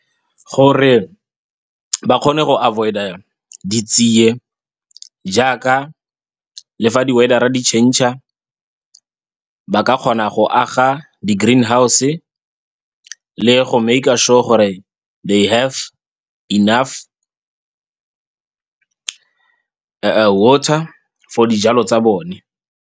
Gore ba kgone go avoid-a ditsie, jaaka le fa di-weather-a di-changer. Ba ka kgona go aga di-greenhouse, le go maker sure gore they enough water for dijalo tsa bone.